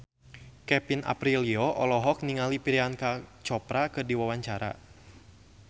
Kevin Aprilio olohok ningali Priyanka Chopra keur diwawancara